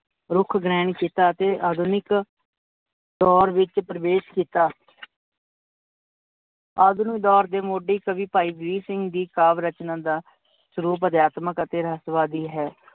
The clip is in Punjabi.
ਰੁਕ ਗ੍ਰਹਿਣ ਕੀਤਾ ਅਤੇ ਆਧੁਨਿਕ ਦੋਰ ਵਿੱਚ ਪ੍ਰਵੇਸ਼ ਕੀਤਾ ਆਧੁਨਿਕ ਦੋਰ ਦੇ ਮੋਡੀ ਕਵੀ ਭਾਈ ਵੀਰ ਸਿੰਘ ਦੀ ਕਾਵ ਰਚਨਾਂ ਦਾ ਸਰੂਪ ਅਧਿਆਤਮਿਕ ਅਤੇ ਰਹਿਸਵਾਦੀ ਹੈ।